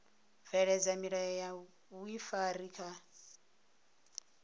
bveledza milayo ya vhuifari kha